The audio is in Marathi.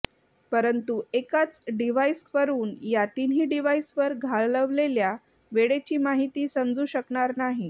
परंतु एकाच डिव्हाइसवरून या तिन्ही डिव्हाइसवर घालवलेल्या वेळेची माहिती समजू शकणार नाही